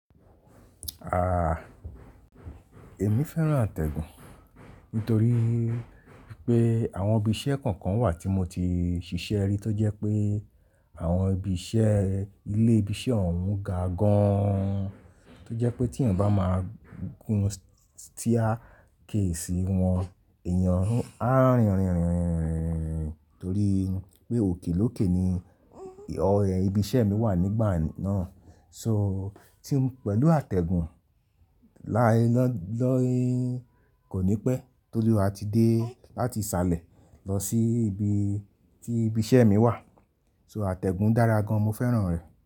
Ah, èmi féràn àtẹ̀gùn nítorí pé àwọn ibi iṣẹ́ kọ̀ọ̀kan wà tí mo ti ṣiṣẹ́ rí, tó jẹ́ pé àwọn ibi iṣẹ́, ilé ibi iṣẹ́ ọ̀ún ga gan-an. Tó jẹ́ pé tí èèyàn bá máa gùn stíà ké sí wọn, èèyàn á rìn, torí pé òkè lókè ni ibi iṣẹ́ mi wà nígbà náà. So, tí mo pẹ̀lú àtẹ̀gùn, kò ní pẹ́, torí a ti dé láti ṣálẹ̀ lọ sí ibi tí ibi iṣẹ́ mi wà. So àtẹ̀gùn dára gan, mo féràn rẹ̀.